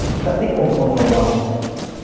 Não tem tem como controlar.